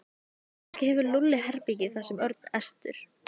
Kannski hefur Lúlli herbergi þar sagði Örn æstur.